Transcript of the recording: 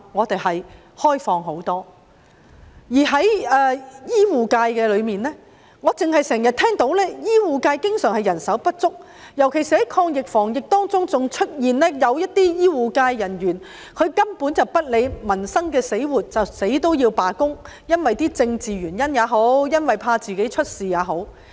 在醫護界中，我只經常聽到醫護界人手不足；在抗疫防疫期間，更有醫護人員根本不理民生死活，因為政治原因也好，怕自己出事也好，堅持罷工。